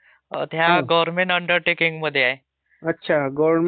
अच्छा, government undertaking म्हणजे धोका नाहीच आहे समजा.